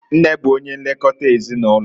Nne bụ onye nlekota ezinụlọ.